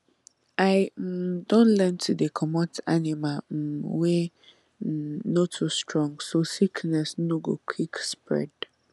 i um don learn to dey comot animal um wey um no too strong so sickness no go spread quick